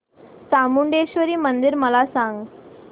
चामुंडेश्वरी मंदिर मला सांग